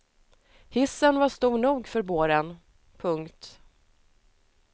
Hissen var stor nog för båren. punkt